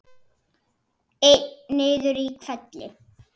Einn niður í hvelli.